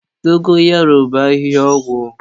Dogoyaru bụ ahịhịa ọgwụ